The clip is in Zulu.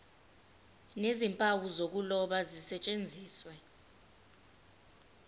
nezimpawu zokuloba zisetshenziswe